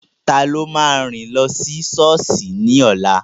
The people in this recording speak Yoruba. Taló máa rìn lọ sí sọ́ọ̀sì ní ọ̀la?